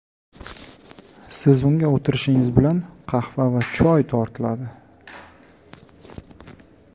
Siz unga o‘tirishingiz bilan qahva yoki choy tortiladi.